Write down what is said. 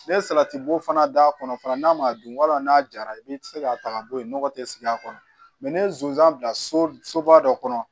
Ne ye salati bo fana d'a kɔnɔ fana n'a ma dun wa n'a jara i bɛ se k'a ta ka bɔ yen nɔgɔ tɛ sigi a kɔnɔ mɛ ni ye sonsan bila so so ba dɔ kɔnɔ